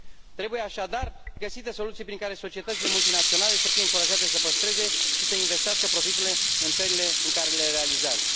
Trebuie, așadar, găsite soluții prin care societățile multinaționale să fie încurajate să păstreze și să investească profiturile în țările în care le realizează.